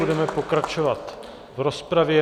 Budeme pokračovat v rozpravě.